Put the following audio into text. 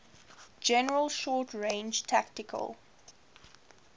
general short range tactical